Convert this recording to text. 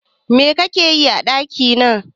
Me kake yi a ɗakina?